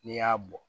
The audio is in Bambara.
N'i y'a bɔ